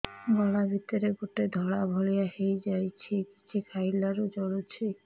ଗଳା ଭିତରେ ଗୋଟେ ଧଳା ଭଳିଆ ହେଇ ଯାଇଛି କିଛି ଖାଇଲାରୁ ଜଳୁଛି